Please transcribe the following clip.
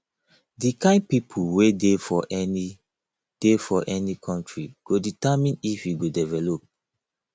di kind pipo wey dey for any dey for any country go determine if e go develop